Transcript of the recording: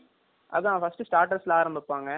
ஓ இதுவே starters யே ஆ